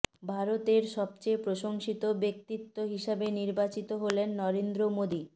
ভারতের সবচেয়ে প্রশংসিত ব্যক্তিত্ব হিসাবে নির্বাচিত হলেন নরেন্দ্র মোদী